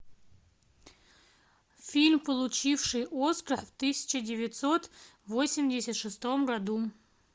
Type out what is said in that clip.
фильм получивший оскар в тысяча девятьсот восемьдесят шестом году